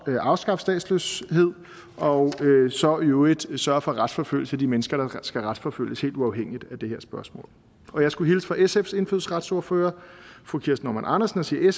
at afskaffe statsløshed og så i øvrigt sørge for at retsforfølge de mennesker der skal retsforfølges helt uafhængigt af det her spørgsmål og jeg skulle hilse fra sfs indfødsretsordfører fru kirsten normann andersen og sige at